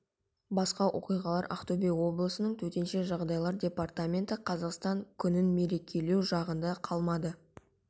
басқа оқиғалар ақтөбе облысының төтенше жағдайлар департаменті қазақстан күнін мерекелеу жағында қалмады